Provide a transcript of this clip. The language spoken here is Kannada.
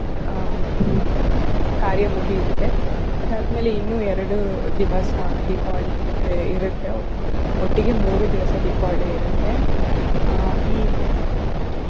ಆಹ್ ಕಾರ್ಯಾ ಮುಗಿಯುತ್ತೇ ಅದಾದ್ಮೆಲೆ ಇನ್ನೂ ಎರಡು ದಿವಸ ದೀಪಾವಳಿ ಇರತ್ತೆ ಒಟ್ಟಿಗೆ ಮೂರು ದಿವಸ ದೀಪಾವಳಿ ಇರತ್ತೆ. ಆಹ್ ಈ